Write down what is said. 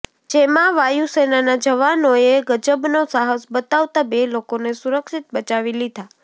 જેમાં વાયુસેનાના જવાનોએ ગજબનો શાહસ બતાવતા બે લોકોને સુરક્ષિત બચાવી લીધા